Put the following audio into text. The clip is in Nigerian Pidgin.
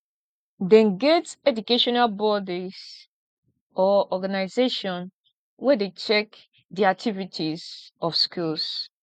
dem get educational bodies or organization wey de check the activities of schools